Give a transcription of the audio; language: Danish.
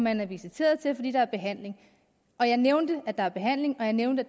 er visiteret til fordi der er behandling og jeg nævnte at der er behandling og jeg nævnte